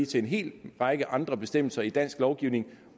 til en hel række andre bestemmelser i dansk lovgivning